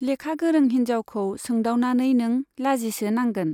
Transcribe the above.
लेखा गोरों हिन्जावखौ सोंदावनानै नों लाजिसो नांगोन।